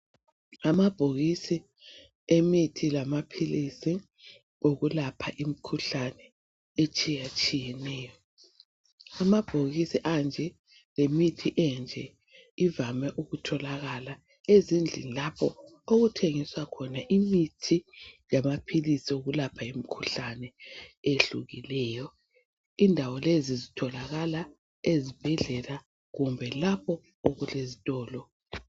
Ngamabhokisi wamapills awokuyelapha imikhuhlane etshiya tshiyeneyo amabhokisi anje lemithi enje kuvame ukutholakala ezindlini lapho okuthengiswa khona imithi lamapills okuyelapha imikhuhlane eyehlukileyo indawo lezi zitholakala ezibhedlela kumbe lapho okulezitolo